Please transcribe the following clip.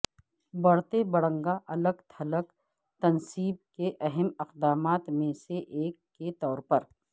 بڑھتے بڑنگا الگ تھلگ تنصیب کے اہم اقدامات میں سے ایک کے طور پر